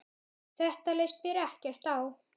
Þetta leist mér ekkert á.